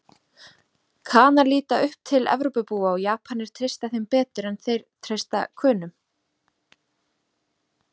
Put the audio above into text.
Kanar líta upp til Evrópubúa og Japanir treysta þeim betur en þeir treysta Könum.